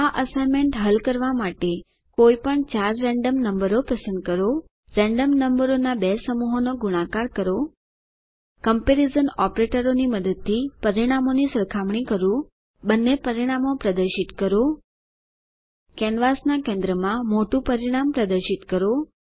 આ એસાઈનમેન્ટ હલ કરવા માટે કોઈપણ ચાર રેન્ડમ નંબરો પસંદ કરો રેન્ડમ નંબરોના બે સમૂહોનો ગુણાકાર કરો કમ્પેરીઝન ઓપરેટરો મદદથી પરિણામોની સરખામણી કરો બંને પરિણામો પ્રદર્શિત કરો કેનવાસ ના કેન્દ્રમાં મોટુ પરિણામ પ્રદર્શિત કરો